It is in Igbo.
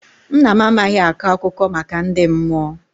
Nna m amaghị akọ akụkọ maka ndị mmụọ.